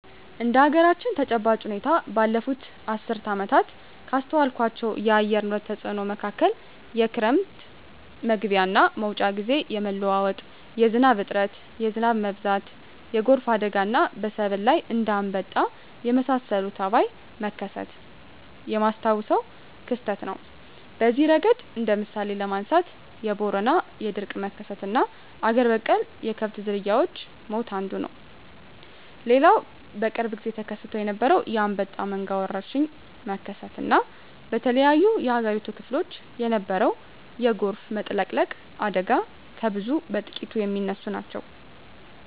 እንደ አገራችን ተጨባጭ ሁኔታ ባለፋት አስርት ዓመታት ካስተዋልኳቸው የአየር ንብረት ተጽኖ መካከል የክረም መግቢያና መውጫ ግዜ የመለዋወጥ፣ የዝናብ እጥረት፣ የዝናብ መብዛት፣ የጎርፍ አደጋና በሰብል ላይ እንደ አንበጣ የመሳሰለ ተባይ መከሰት የማስታውሰው ክስተት ነው። በዚህ እረገድ እንደ ምሳሌ ለማንሳት የቦረና የድርቅ መከሰትና አገር በቀል የከብት ዝርያወች ሞት አንዱ ነው። ሌላው በቅርብ ግዜ ተከስቶ የነበረው የአንበጣ መንጋ ወረርሽኝ መከሰት እና በተለያዮ የአገሪቱ ክፍሎች የነበረው የጎርፍ መጥለቅለቅ አደጋ ከብዙ በጥቂቱ ሚነሱ ናቸው።